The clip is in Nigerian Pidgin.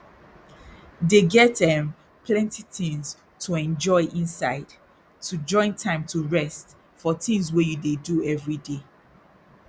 dey get erm plenty tins to enjoy inside to join time to rest for tins wey you dey do everyday